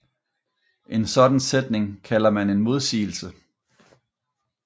En sådan sætning kalder man en modsigelse